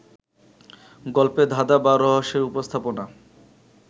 গল্পে ধাঁধা বা রহস্যের উপস্থাপনা